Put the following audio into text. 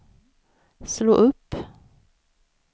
slå upp